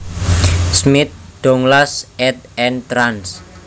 Smith Douglas ed and trans